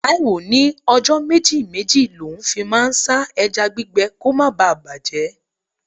Taiye ní ọjọ́ méjì-méjì l'oun fi máa ń sá ẹja gbígbẹ kó má bà bàjẹ́.